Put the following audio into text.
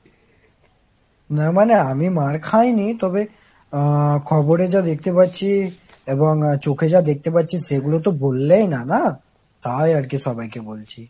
না মানে আমি মার খাইনি তবে, আ খবরে যা দেখতে পারছি এবং চোখে যা দেখতে পারছি সেগুলো তো বললেই না না, তাই আর কি সবাই ক বলছি।